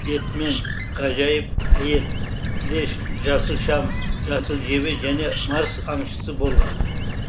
бэтмен ғажайып әйел флэш жасыл шам жасыл жебе және марс аңшысы болған